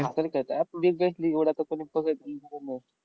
हातानं खेळतात big bash league एवढा तो